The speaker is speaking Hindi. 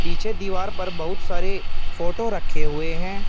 पीछे दीवार पर बहुत सारे फोटो रखे हुए हैं।